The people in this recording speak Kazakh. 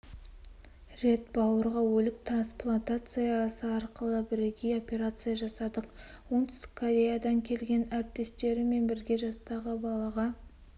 рет бауырға өлік трансплантациясы арқылы бірегей операция жасадық оңтүстік кореядан келген әріптестерімен бірге жастағы балаға